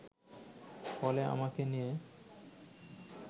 ফলে আমাকে নিয়ে